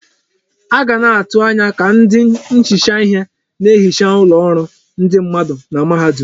A ga na-atụ anya ka ndị nhicha ihe na-ehicha ụlọ ọrụ ndị mmadụ na mahadum.